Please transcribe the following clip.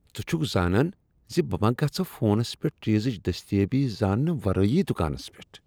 ز ژٕ چھکھ زانان ز بہٕ ما گژھہٕ فونس پیٹھ چیزٕچ دستیٲبی زاننہ ورٲیی دُکانس پیٹھ۔